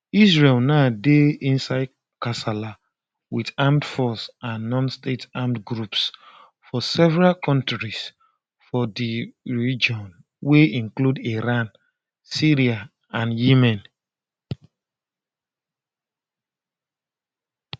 israel now dey inside kasala wit armed forces and nonstate armed groups for several kontris for di region wey include iran syria and yemen